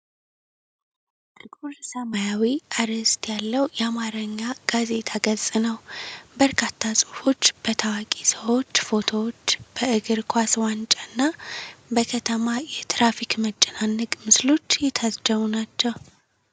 ጥቁር ሰማያዊ አርዕስት ያለው የአማርኛ ጋዜጣ ገጽ ነው። በርካታ ጽሑፎች፣ በታዋቂ ሰዎች ፎቶዎች፣ በእግር ኳስ ዋንጫና በከተማ የትራፊክ መጨናነቅ ምስሎች የታጀቡ ናቸው።